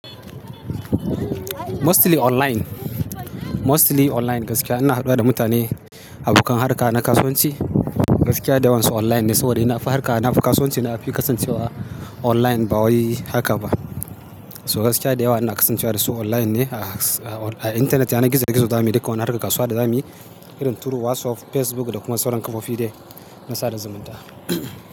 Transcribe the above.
Mostly online, mostly online gaskiya ina haɗuwa da mutane, abokan harka na kasuwanci gaskiya da yawan su online ne saboda ina fi harka na kasuwanci na fi kasancewa online ba wai haka ba. So gaskiya da yawa ina kasancewa da su online ne a, a, a intanet yana gizo-gizo da mu dukkan wani harkan kasuwa da za mu yi irin turu WhatsApp, Facebook da kuma sauran kafofi dai na sada zumunta.